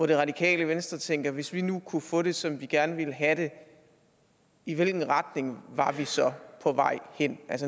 det radikale venstre tænker hvis vi nu kunne få det som vi gerne vil have det i hvilken retning var vi så på vej hen